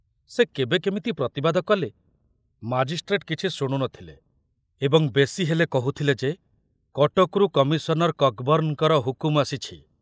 ସେ କେବେ କେମିତି ପ୍ରତିବାଦ କଲେ ମାଜିଷ୍ଟ୍ରେଟ କିଛି ଶୁଣୁ ନଥିଲେ ଏବଂ ବେଶି ହେଲେ କହୁଥିଲେ ଯେ କଟକରୁ କମିଶନର କକବର୍ଣ୍ଣଙ୍କର ହୁକୁମ ଆସିଛି।